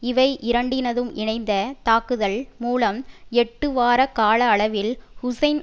இவை இரண்டினதும் இணைந்த தாக்குதல் மூலம் எட்டு வார கால அளவில் ஹூசைன்